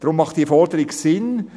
Darum macht die Forderung Sinn: